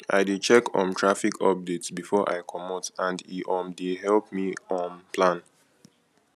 i dey check um traffic updates before i comot and e um dey help me um plan